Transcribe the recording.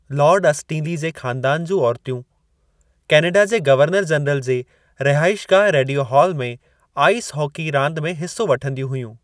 Lord Stanley जे ख़ानदान जूं औरतूं कैनेडा जे गवर्नर जनरल जे रहाइशगाह रेडियो हाल में आईस हॉकी रांदि में हिसो वठंदियूं हुयूं।